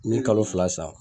N'i ye kalo fila san